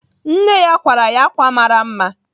Nne ya kwara ya ákwà mara mma.